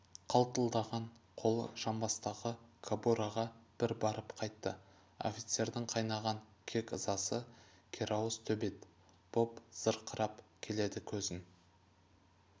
қалтылдаған қолы жамбастағы кобураға бір барып қайтты офицердің қайнаған кек-ызасы керауыз төбет боп зырқырап келеді көзін